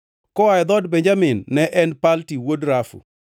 koa e dhood Benjamin, ne en Palti wuod Rafu;